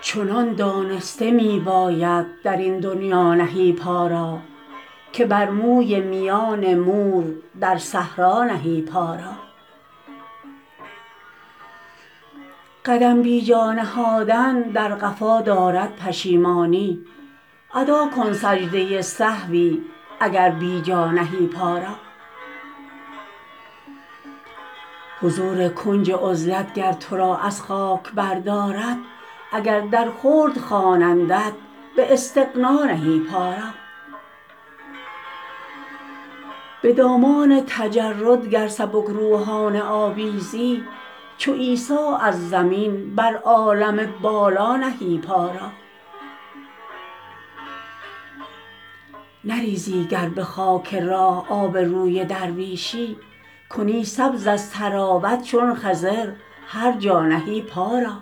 چنان دانسته می باید درین دنیا نهی پا را که بر موی میان مور در صحرا نهی پا را قدم بیجا نهادن در قفا دارد پشیمانی ادا کن سجده سهوی اگر بی جا نهی پا را حضور کنج عزلت گر ترا از خاک بردارد اگر در خلد خوانندت به استغنا نهی پا را به دامان تجرد گر سبکروحانه آویزی چو عیسی از زمین بر عالم بالا نهی پا را نریزی گر به خاک راه آب روی درویشی کنی سبز از طراوت چون خضر هر جا نهی پا را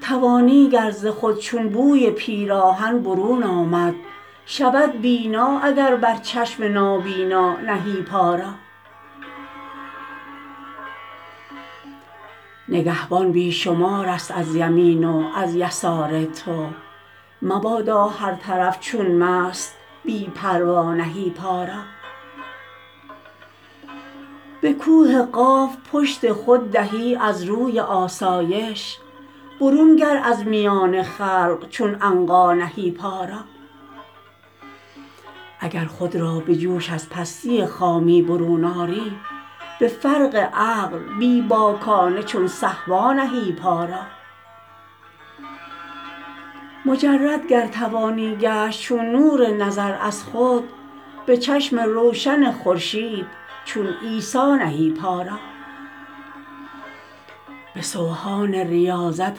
توانی گر ز خود چون بوی پیراهن برون آمد شود بینا اگر بر چشم نابینا نهی پا را نگهبان بی شمارست از یمین و از یسار تو مبادا هر طرف چون مست بی پروا نهی پا را به کوه قاف پشت خود دهی از روی آسایش برون گر از میان خلق چون عنقا نهی پا را اگر خود را به جوش از پستی خامی برون آری به فرق عقل بی باکانه چون صهبا نهی پا را مجرد گر توانی گشت چون نور نظر از خود به چشم روشن خورشید چون عیسی نهی پا را به سوهان ریاضت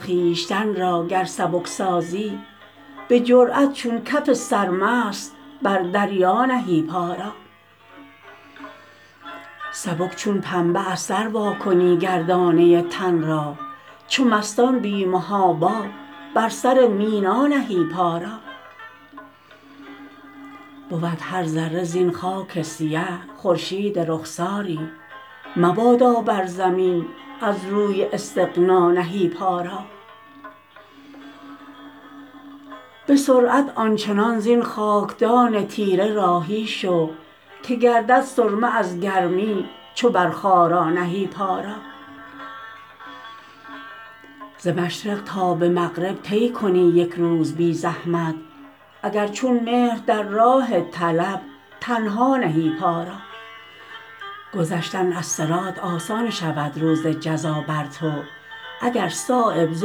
خویشتن را گر سبک سازی به جرأت چون کف سرمست بر دریا نهی پا را سبک چون پنبه از سر وا کنی گردانه تن را چو مستان بی محابا بر سر مینا نهی پا را بود هر ذره زین خاک سیه خورشید رخساری مبادا بر زمین از روی استغنا نهی پا را به سرعت آنچنان زین خاکدان تیره راهی شو که گردد سرمه از گرمی چو بر خارا نهی پا را ز مشرق تا به مغرب طی کنی یک روز بی زحمت اگر چون مهر در راه طلب تنها نهی پا را گذشتن از صراط آسان شود روز جزا بر تو اگر صایب ز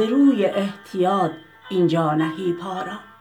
روی احتیاط اینجا نهی پا را